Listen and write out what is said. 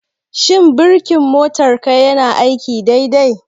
Shin birkin motarka yana aiki dai dai?